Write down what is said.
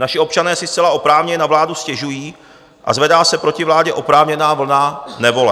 Naši občané si zcela oprávněně na vládu stěžují a zvedá se proti vládě oprávněná vlna nevole.